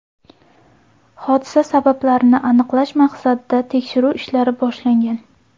Hodisa sabablarini aniqlash maqsadida tekshiruv ishlari boshlangan.